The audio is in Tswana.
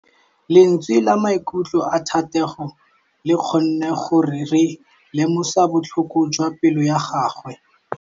Lentswe la maikutlo a Thategô le kgonne gore re lemosa botlhoko jwa pelô ya gagwe.